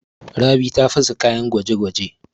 Rabi ta fasa kayan gwaje-gwaje.